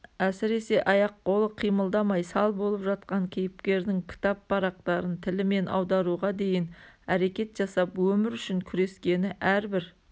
әсіресе аяқ-қолы қимылдамай сал болып жатқан кейіпкердің кітап парақтарын тілімен аударуға дейін әрекет жасап өмір үшін күрескені әрбір